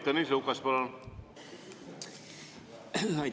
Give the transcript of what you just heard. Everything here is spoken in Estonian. Tõnis Lukas, palun!